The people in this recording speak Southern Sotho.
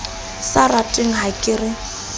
sa ratweng ha ke re